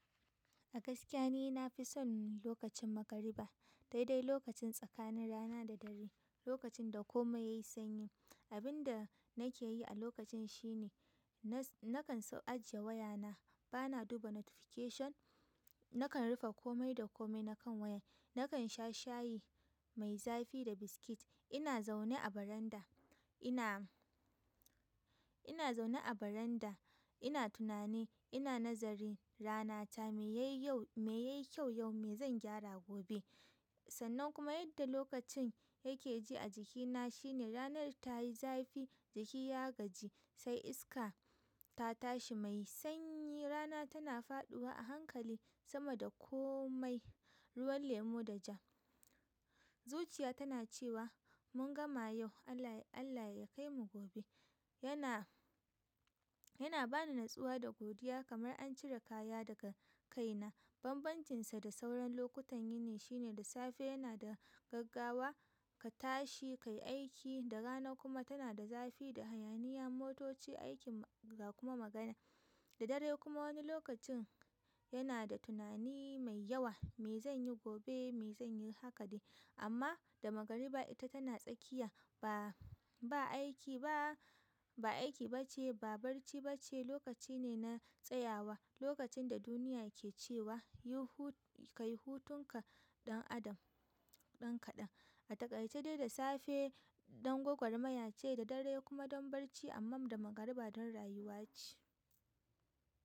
A gaskiya ni na fi son lokacin magariba, daidai lokacin tsakanin rana da dare, lokacin da komai ya yi sanyi. Abin da nake yi a lokacin shine, nakan ajiye wayana, bana duba notification, na kan rufe komai da komai nakan waya, nakan sha shayi mai zafi da biskit. Ina zaune a baranda, ina, ina zaune a baranda, ina tunani, ina nazarin ranata me ya yi yau, me ya yi kyau yau, me zan gyara gobe. Sannan kuma yadda lokacin yake ji a jikina shine ranar ta yi zafi, jiki ya gaji sai iska ta tashi mai sanyi. Rana tana faɗuwa a hankali sama da komai, ruwan lemo da ja. Zuciya tana cewa mun gama yau Allah, Allah ya kai mu gobe. Yana, yana bani natsuwa da godiya kamar an cire kaya daga kaina. Banbancinsa da sauran lokutan yini shine da safe yana da gaggawa, ka tashi, ka yi aiki, da rana kuma tana da zafi da hayaniya, motoci, aikin, ga kuma magana. Da dare kuma wani lokacin yana da tunani mai yawa, me zan yi gobe? Me zan yi? Haka dai. Amma da magariba ita tana tsakiya, ba, ba aiki ba, ba aiki ba ce, ba barci ba ce, lokaci ne na tsayawa, lokacin da duniya ke cewa, "Yi hu, ka yi hutunka ɗan adam, ɗan kaɗan." A takaice dai da safe. Don gwagwarmaya ce da dare kuma don barci amman da magariba don rayuwa ce.